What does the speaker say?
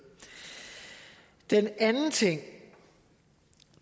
den anden ting